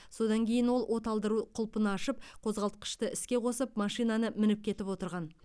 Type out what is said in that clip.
содан кейін ол оталдыру құлпын ашып қозғалтқышты іске қосып машинаны мініп кетіп отырған